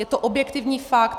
Je to objektivní fakt.